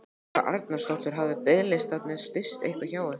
Þóra Arnórsdóttir: Hafa biðlistarnir styst eitthvað hjá ykkur?